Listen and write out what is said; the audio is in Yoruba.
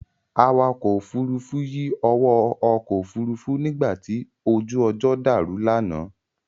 Awakọ̀ ọkọ̀ Òfurufú yí owó ọkọ̀ Òfurufú nígbàtí ojú ọjọ́ dàrú lánàá